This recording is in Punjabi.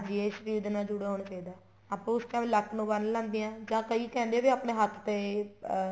ਹਾਂਜੀ ਇਹ ਸ਼ਰੀਰ ਦੇ ਨਾਲ ਜੁੜਿਆ ਹੋਣਾ ਚਾਹੀਦਾ ਏ ਆਪਾਂ ਉਸ time ਲੱਕ ਨੂੰ ਬੰਨ ਲੈਂਦੇ ਹਾਂ ਜਾ ਕੀ ਕਹਿੰਦੇ ਆ ਵੀ ਆਪਣੇ ਹੱਥ ਤੇ ਅਹ